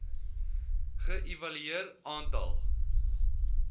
ge evalueer aantal